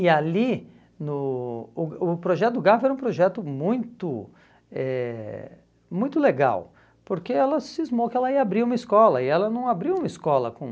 E ali, no o o projeto do GAF era um projeto muito eh muito legal, porque ela cismou que ela ia abrir uma escola, e ela não abriu uma escola com...